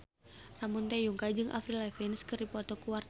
Ramon T. Yungka jeung Avril Lavigne keur dipoto ku wartawan